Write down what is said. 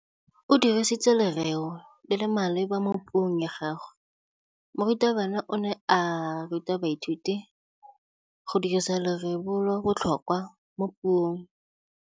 O dirisitse lerêo le le maleba mo puông ya gagwe. Morutabana o ne a ruta baithuti go dirisa lêrêôbotlhôkwa mo puong.